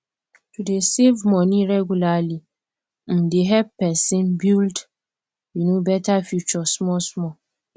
to dey save money regularly um dey help person build um better future small small